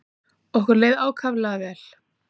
Okkur leið ákaflega vel.